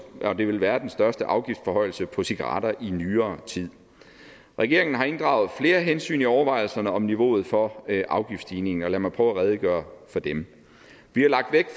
vil være den største afgiftsforhøjelse på cigaretter i nyere tid regeringen har inddraget flere hensyn i overvejelserne om niveauet for afgiftsstigningen og lad mig prøve at redegøre for dem vi har lagt vægt